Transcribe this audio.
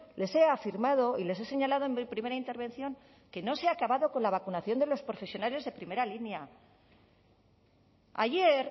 les he afirmado y les he señalado en mi primera intervención que no se ha acabado con la vacunación de los profesionales de primera línea ayer